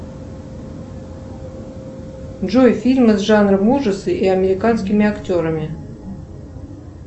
джой фильмы с жанром ужасы и американскими актерами